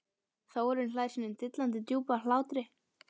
Þórunn hlær sínum dillandi djúpa hlátri.